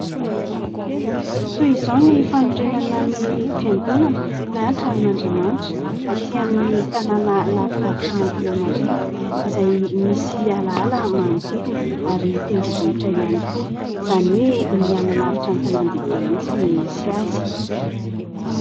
Toy izao ny fanorenana ny fiangonana na tranon'Andriamanitra aty amin'ny tanàna lavidavitra an'Antananarivo izay misy alaala manodidina ary tendrombohitra ihany koa, izany hoe miala lavitra ny tanàn-dehibe mihitsy no misy azy.